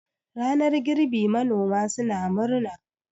ranar girbi manoma suna murna